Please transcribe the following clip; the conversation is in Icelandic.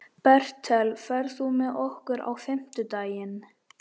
Bertel, ferð þú með okkur á fimmtudaginn?